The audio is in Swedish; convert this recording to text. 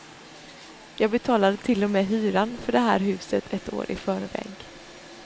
Jag betalade till och med hyran för det här huset ett år i förväg.